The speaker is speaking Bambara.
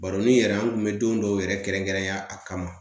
Baroni yɛrɛ an kun bɛ don dɔw yɛrɛ kɛrɛnkɛrɛnya a kama